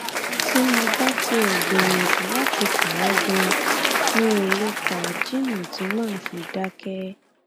tí mo bá tiẹ gbìyànjú láti kà á ganan mi ó lè kà á jìnnà tí mà á fi dákẹ